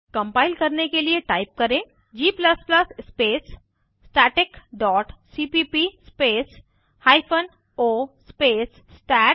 compile करने के लिए टाइप करें gस्पेस static dot cpp space hyphen o space stat